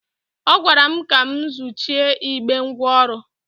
Ọ gwara m ka m zụchie igbe ngwa ọrụ.